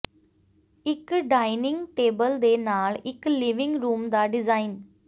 ਇੱਕ dining table ਦੇ ਨਾਲ ਇੱਕ ਲਿਵਿੰਗ ਰੂਮ ਦਾ ਡਿਜ਼ਾਇਨ